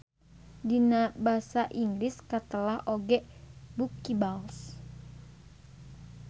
Dina basa Inggris katelah oge buckyballs.